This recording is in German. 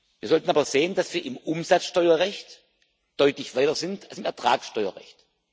Wir sollten aber sehen, dass wir im Umsatzsteuerrecht deutlich weiter sind als im Ertragssteuerrecht.